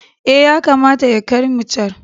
Eh, yakamata ya kai mu can.